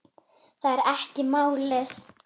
Það er ekki málið.